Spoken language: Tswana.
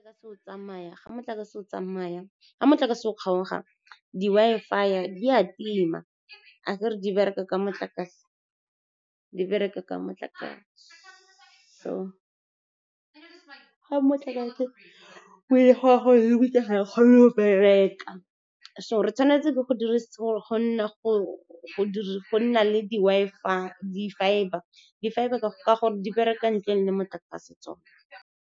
Ga motlakase o kgaoga, di Wi-Fi di a tima. Akere di bereka ka motlakase, so ga motlakase o , ga e kgone go bereka. So re tshwanetse ke go nna le di-fibre, ka gore di bereka ntle le motlakase.